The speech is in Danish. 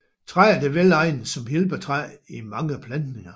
Træet er velegnet som hjælpetræ i mange plantninger